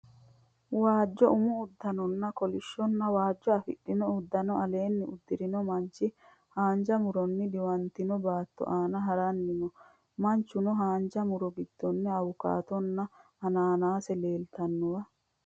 Waajjo umu uddanonna kolishshonna waajjo afidhino uddano aleenni uddirinno manchi haanja mu'ronni diwantino baatto aana haranni noo manchona haanja mu'ro giddonni awukaatonna ananaase leeltannowa.